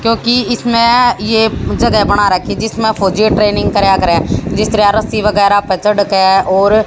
क्योंकि इसमें ये जगह बना रखी जिसमें फौजी ट्रेनिंग करा करें जिस त्राय रस्सी वगैरह प चढ़ केय और--